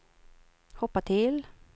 hoppa till